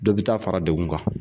Dɔ bi taa fara dekun kan.